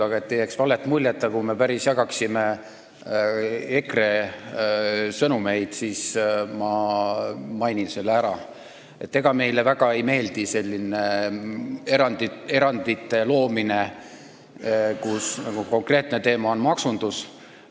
Aga et ei jääks vale muljet, nagu me päriselt jagaksime EKRE sõnumeid, siis ma mainin ära, et ega meile väga ei meeldi selline erandite loomine, kus konkreetne teema on maksundus.